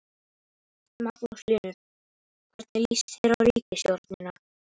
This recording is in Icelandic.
Magnús Hlynur: Hvernig lýst þér á ríkisstjórnina?